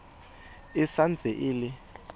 e sa ntse e le